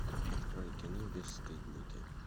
открой кино бесстыдники